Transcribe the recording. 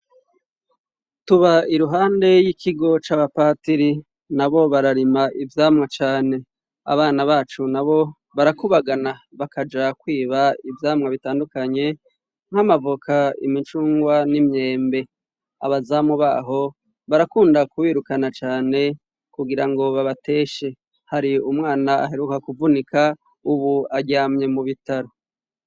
Tuba iruhande y'ikigo c'abapatiri, nabo bararima ivyamwa cane. Abana bacu nabo barakubagana, bakaja kwiba ivyamwa bitandukanye nk'amavoka, imicungwe n'imyembe. Abazamu baho barakunda kubirukana cane kugira ngo babateshe. Hari umwana aheruka kuvunika, ubu aryamye mu bitaro.